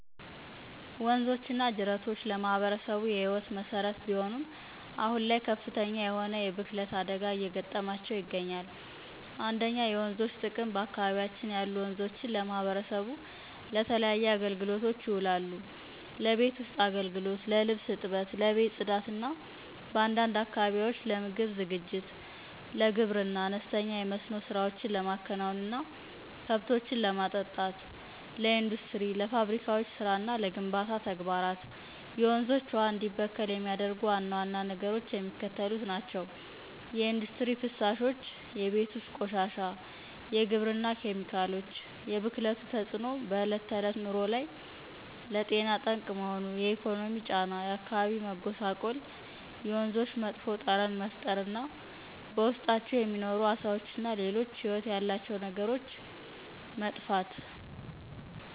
ወንዞች እና ጅረቶች ለማህበረሰቡ የህይወት መሰረት ቢሆኑም፣ አሁን ላይ ከፍተኛ የሆነ የብክለት አደጋ እየገጠማቸው ይገኛል። 1. የወንዞች ጥቅምበአካባቢያችን ያሉ ወንዞች ለማህበረሰቡ ለተለያዩ አገልግሎቶች ይውላሉ፦ ለቤት ውስጥ አገልግሎት፦ ለልብስ እጥበት፣ ለቤት ጽዳት እና በአንዳንድ አካባቢዎች ለምግብ ዝግጅት። ለግብርና፦ አነስተኛ የመስኖ ስራዎችን ለማከናወን እና ከብቶችን ለማጠጣት። ለኢንዱስትሪ፦ ለፋብሪካዎች ስራ እና ለግንባታ ተግባራት። የወንዞች ውሃ እንዲበከል የሚያደርጉ ዋና ዋና ነገሮች የሚከተሉት ናቸው፦ የኢንዱስትሪ ፍሳሾች፣ የቤት ውስጥ ቆሻሻ፣ የግብርና ኬሚካሎች። የብክለቱ ተጽዕኖ በዕለት ተዕለት ኑሮ ላይ፦ ለጤና ጠንቅ መሆኑ፣ የኢኮኖሚ ጫና፣ የአካባቢ መጎሳቆልየወንዞች መጥፎ ጠረን መፍጠር እና በውስጣቸው የሚኖሩ አሳዎችና ሌሎች ህይወት ያላቸው ነገሮች መጥፋት።